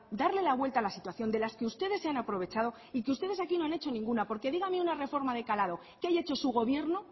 darle la vuelta a la situación de las que ustedes se han aprovechado y que ustedes aquí no han hecho ninguna porque dígame una reforma de calado que haya hecho su gobierno